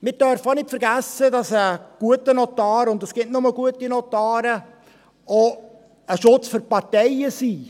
Wir dürfen auch nicht vergessen, dass ein guter Notar – und es gibt nur gute Notare – auch ein Schutz für die Parteien ist.